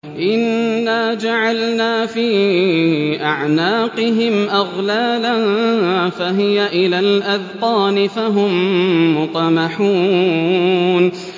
إِنَّا جَعَلْنَا فِي أَعْنَاقِهِمْ أَغْلَالًا فَهِيَ إِلَى الْأَذْقَانِ فَهُم مُّقْمَحُونَ